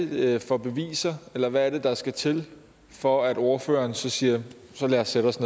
det for beviser eller hvad er det der skal til for at ordføreren siger så lad os sætte os